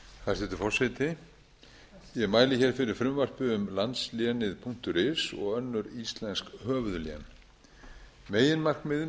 hæstvirtur forseti ég mæli fyrir frumvarpi um landslénið punktur is og önnur íslensk höfuðlén meginmarkmiðið